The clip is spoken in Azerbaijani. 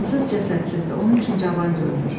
Cansız cəsədsizdir, onun üçün cavan görünür.